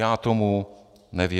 Já tomu nevěřím.